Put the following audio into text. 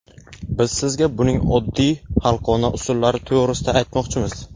Biz sizga buning oddiy xalqona usullari to‘g‘risida aytmoqchimiz.